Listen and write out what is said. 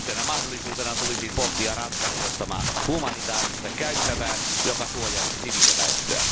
Yhtenä mahdollisuutena tulisi pohtia Ranskan ehdottamaa humanitaarista käytävää, joka suojaisi siviiliväestöä.